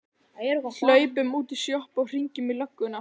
Hlaupum út í sjoppu og hringjum í lögguna!